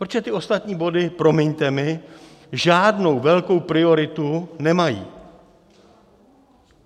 Protože ty ostatní body, promiňte mi, žádnou velkou prioritu nemají.